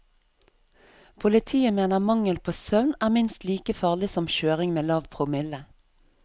Politiet mener mangel på søvn er minst like farlig som kjøring med lav promille.